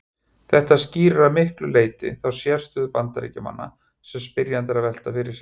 Þetta skýrir að miklu leyti þá sérstöðu Bandaríkjamanna sem spyrjandi er að velta fyrir sér.